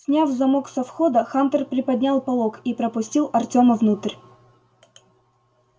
сняв замок со входа хантер приподнял полог и пропустил артёма внутрь